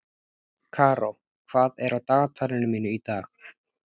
Karó, hvað er á dagatalinu mínu í dag?